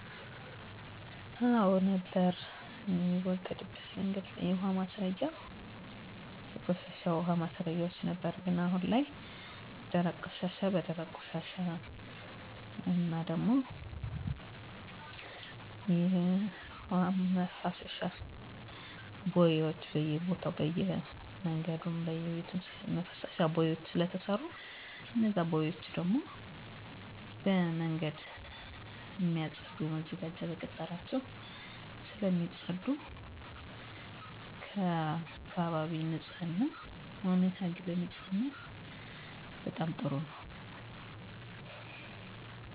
የአካባቢ ይሁን የግል ንጽህና የተሻለ ነው እንዲሁም ቅድመ በሽታ መከላከል የሚሰጡ ክትባቶች እና ግንዛቤ ማስጨበጫ መድረኮች ጥሩ ናቸው በየአካባቢው እየቀረ መጥቷል እንጂ የውሀ ማስረጊያ ጉድጓዶች በየ በሩ ተዘጋጅቶ ቆሻሻ ዉሃና ፍሳሽ ሲወገድበት የነበረበት መንገድ ጥሩ ነበር መለወጥ የምፈልገው የቆሻሻ አወጋገዳችንን ነው ምሳሌ በተደራጀ መልኩ ለማፅዳት የሚደረገው ጥረት ጥሩ ነው በተለይ በሴፍትኔት ፕሮግራም የአካባቢ ማህበረሰብ በችግኝ ተከላ በአካባቢ ንፅህና ጥሩ ስራ እየተሰራ ነው መበርታት አለበት